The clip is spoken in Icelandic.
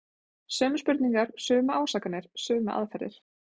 Sömu spurningar, sömu ásakanir, sömu aðferðir.